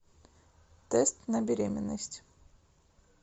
тест на беременность